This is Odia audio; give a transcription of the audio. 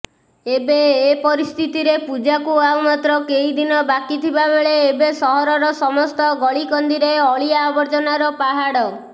ଏପରିସ୍ଥିତିରେ ପୂଜାକୁ ଆଉ ମାତ୍ର କେଇଦିନ ବାକିଥିବା ବେଳେ ଏବେ ସହରର ସମସ୍ତ ଗଳିକନ୍ଦିରେ ଅଳିଆ ଆବର୍ଜ୍ଜନାର ପାହାଡ